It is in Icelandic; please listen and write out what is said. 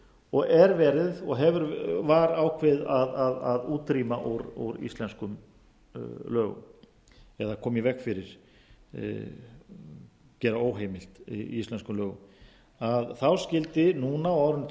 hafði sætt gagnrýni og var ákveðið að útrýma úr íslenskum lögum eða koma í veg fyrir gera óheimilt á íslenskum lögum þá skyldi núna á árinu tvö